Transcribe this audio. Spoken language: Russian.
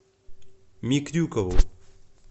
микрюкову